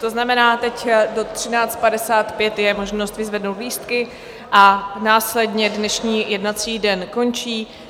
To znamená, teď do 13.55 je možno vyzvednout lístky a následně dnešní jednací den končí.